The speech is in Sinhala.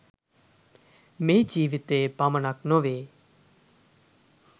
මේ ජීවිතයේ පමණක් නොවේ.